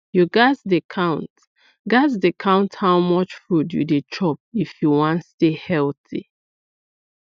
you gats dey count gats dey count how much food you dey chop if you wan stay healthy